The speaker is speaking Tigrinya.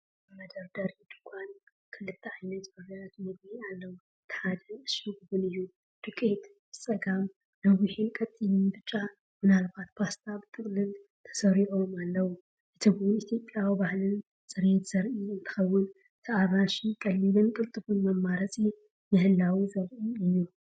ኣብ መደርደሪ ድኳን ክልተ ዓይነት ፍርያት መግቢ ኣሎ። እቲ ሓደ ዕሹግ ቡን እዩ: ዱቄት:ብጸጋም ነዊሕን ቀጢንን ብጫ ምናልባት ፓስታ ብጥቕላል ተሰሪዖም ኣለዉ። እቲ ቡን ኢትዮጵያዊ ባህልን ፅሬትን ዘርኢ እንትኸውን እቲ ኣራንሺ ቀሊልን ቅልጡፍን መማረፂ ምህላዉ ዘርኢ እዩ።